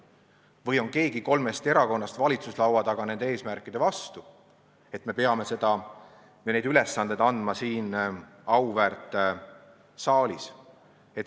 Või on keegi kolmest valitsuslaua taga olevast erakonnast nende eesmärkide vastu, et peame neid ülesandeid andma siin auväärt saalis?